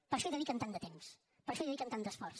per això hi dediquen tant de temps per això hi dediquen tant d’esforç